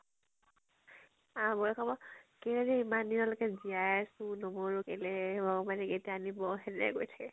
আউ বৌয়ে কব। কেলে ইমান দিনলৈকে জীয়াই আছো, নমৰো কেলে , ভগৱানে কেতিয়া নিব হেনেকে কৈ থাকে।